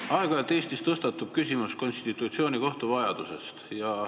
Aeg-ajalt tõstatub Eestis küsimus konstitutsioonikohtu vajadusest.